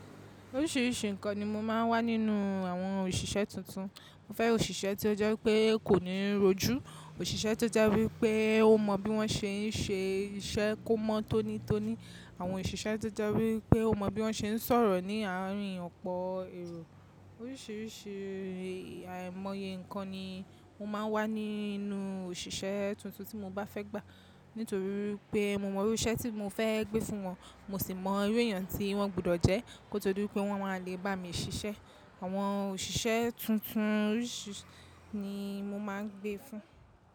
Oríṣìíríṣìí nǹkan ni mo máa ń wá nínú àwọn òṣìṣẹ́ tuntun. Mo fẹ́ òṣìṣẹ́ tó jẹ́ pé kò ní rojú, òṣìṣẹ́ tó jẹ́ wípé ó mọ bí wọ́n ṣe ń ṣe iṣẹ́ kó mọ́ tónítóní, àwọn òṣìṣẹ́ tó jẹ́ wípé ó mọ bí wọ́n ṣe ń sọ̀rọ̀ ní àárín ọ̀pọ̀ èrò. Oríṣìíríṣìí àìmọye nǹkan ni mo máa ń wá nínú òṣìṣẹ́ tuntun tí mo bá fẹ́ gbà. Nítorí pé mo mọ irú iṣẹ́ tí mo fẹ́ gbé fún wọn, mo sì mọ irú èèyàn tí wọ́n gbọdọ̀ jẹ́ kó tó di wi pé wọ́n máa lè bá mi ṣiṣẹ́. Àwọn òṣìṣẹ́ tuntun oríṣìíríṣìí ni mo máa ń gbé fún.